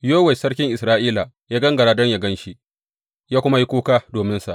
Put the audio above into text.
Yowash sarkin Isra’ila ya gangara don yă gan shi, ya kuma yi kuka dominsa.